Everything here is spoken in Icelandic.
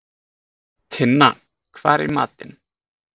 Tinna, hvað er í matinn?